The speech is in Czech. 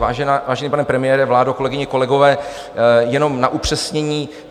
Vážený pane premiére, vládo, kolegyně, kolegové, jenom na upřesnění.